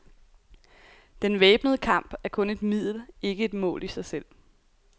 Den væbnede kamp er kun et middel, ikke et mål i sig selv.